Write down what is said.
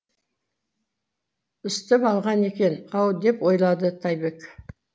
үсітіп алған екен ау деп ойлады тайбек